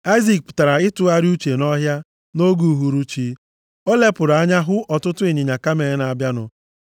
Aịzik pụtara ịtụgharị uche nʼọhịa nʼoge uhuruchi. Ọ lepụrụ anya hụ ọtụtụ ịnyịnya kamel na-abịanụ.